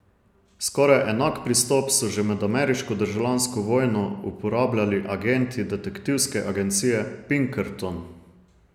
Skoraj enak pristop so že med ameriško državljansko vojno uporabljali agenti detektivske agencije Pinkerton.